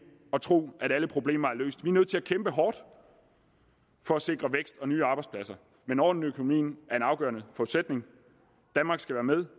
og tro at alle problemer er løst vi er nødt til at kæmpe hårdt for at sikre vækst og nye arbejdspladser men orden i økonomien er en afgørende forudsætning danmark skal være med